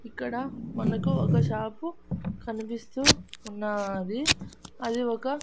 ఇక్కడ మనకు ఒక షాపు కనిపిస్తూ ఉన్నాది అది ఒక--